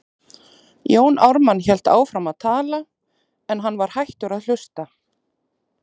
Jón Ármann hélt áfram að tala, en hann var hættur að hlusta.